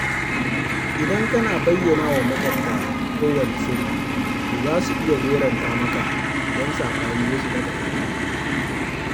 Idan kana bayyanawa maƙwabtanka kowanne sirri to za su iya goranta maka idan saɓani ya shiga tsakaninku.